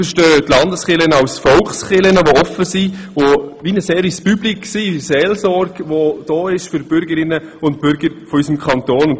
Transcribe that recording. Wir verstehen die Landeskirchen als Volkskirchen, die offen sind und eine Art Service public in Form von Seelsorge anbieten und für die Bürgerinnen und Bürger unseres Kantons da sind.